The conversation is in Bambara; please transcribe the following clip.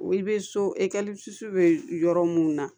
Wi bɛ so bɛ yɔrɔ mun na